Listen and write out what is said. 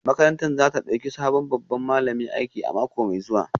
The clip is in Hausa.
Makarantar za ta dauki sabon babban malami aiki a mako mai zuwa